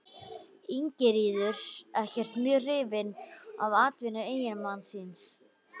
Ingiríður ekkert mjög hrifin af atvinnu eiginmanns síns.